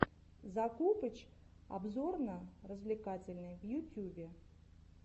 закупыч обзорно развлекательный в ютюбе